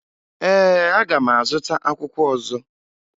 Ee, aga m azụta akwụkwọ ọzọ